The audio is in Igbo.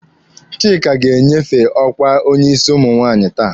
Chika ga-enyefe ọkwa onye isi ụmụ nwaanyị taa.